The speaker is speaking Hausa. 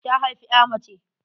Ta haifi ƴa mace.